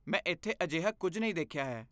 ਮੈਂ ਇੱਥੇ ਅਜਿਹਾ ਕੁਝ ਨਹੀਂ ਦੇਖਿਆ ਹੈ।